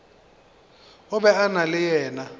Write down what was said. be o na le yena